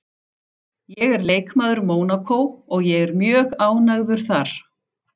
Ég er leikmaður Mónakó og ég er mjög ánægður þar